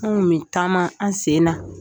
An kun be taama an sen na.